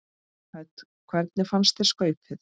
Hödd: Hvernig fannst þér skaupið?